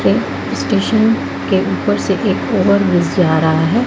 यह स्टेशन के ऊपर से एक ओवरब्रिज जा रहा है।